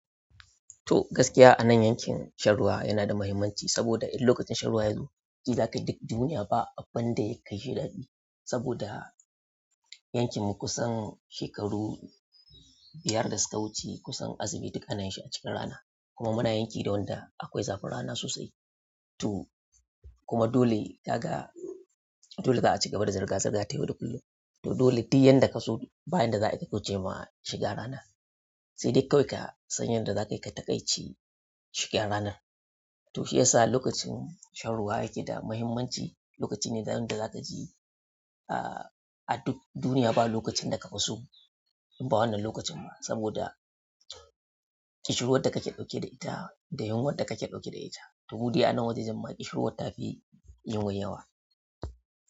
To gaskiya anan yankin shan ruwa yana da mahimmanci saboda in lokacin shan ruwa ya zo, ji zakai duk duniya ba abinda ya kai shi daɗi. Saboda yankin mu kusan shekaru biyar da suka wuce kusan asibiti ƙanan shi a cikin rana kuma muna yanki da wanda akwai zafin rana sosai. To kuma dole kaga, dole za a ci gaba da zirga zirga tayau da kullum. To dole duk yanda ka so bayan da za a yi ka kauce ma shiga rana, sai dai kawai ka san yanda za ka yi ka taƙaici shuki'n ranar. To shi yasa lokacin shan ruwa yake da mahimmanci, lokaci ne da yanda za ka ji, ah duk duniya ba lokacin da ka fi so, in ba wannan lokacin ba saboda ƙishirwar da kake ɗauke da ita da yunwar da kake ɗauke da ita. To mude anan wajejen ƙishirwar ta fi yunwa yawa.